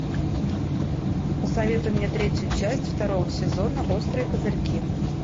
посоветуй мне третью часть второго сезона острые козырьки